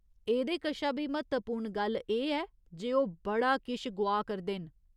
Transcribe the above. एह्दे कशा बी म्हत्तवपूर्ण गल्ल एह् ऐ जे ओह् बड़ा किश गोआऽ करदे न।